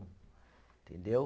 Entendeu?